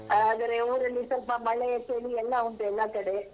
ಆದರೆ ಊರಲ್ಲಿ ಸ್ವಲ್ಪ ಮಳೆ ಚಳಿ ಎಲ್ಲ ಉಂಟು ಎಲ್ಲ ಕಡೆ.